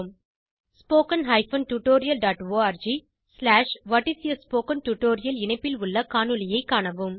httpspoken tutorialorg What is a Spoken Tutorial இணைப்பில் உள்ள காணொளியை காணவும்